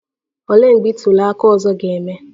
Olee mgbe ntuli aka ọzọ ga-eme?